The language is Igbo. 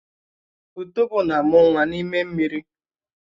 Ùtòbó na-ámu nwa n'ime mmiri